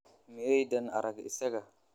Miyaydaan arag isaga?